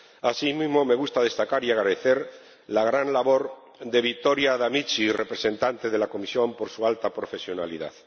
Asimismo, me gusta destacar y agradecer la gran labor de Victoria Amici, representante de la Comisión, por su alta profesionalidad.